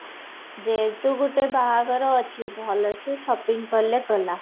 ଯୋଉ ତ ଗୋଟେ ବାହାଘର ଅଛି ଭଲସେ shopping କଲେ ଗଲା